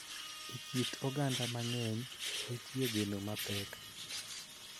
E kit oganda mang�eny, nitie geno mapek .